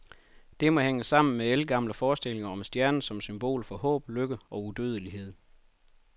Det må hænge sammen med ældgamle forestillinger om stjernen som symbol for håb, lykke og udødelighed.